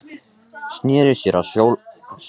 Sneri sér að Sólborgu með öndina í hálsinum.